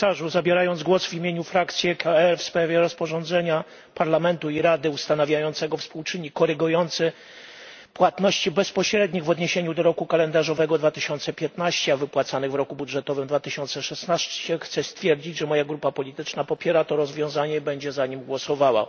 Zabierając głos w imieniu frakcji EKR w sprawie rozporządzenia Parlamentu i Rady ustanawiającego współczynnik korygujący płatności bezpośrednich w odniesieniu do roku kalendarzowego 2015, a wypłacanych w roku budżetowym 2016, chcę stwierdzić, że moja grupa polityczna popiera to rozwiązanie i będzie za nim głosowała.